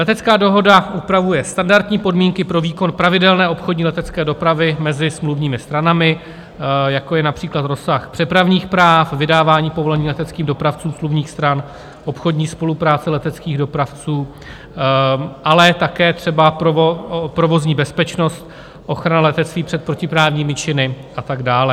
Letecká dohoda upravuje standardní podmínky pro výkon pravidelné obchodní letecké dopravy mezi smluvními stranami, jako je například rozsah přepravních práv, vydávání povolení leteckým dopravcům smluvních stran, obchodní spolupráce leteckých dopravců, ale také třeba provozní bezpečnost, ochrana letectví před protiprávními činy a tak dále.